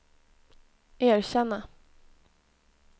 erkänna